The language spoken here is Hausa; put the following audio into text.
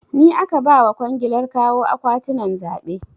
Ni aka ba wa kwangilar kawo akwatinan zaɓe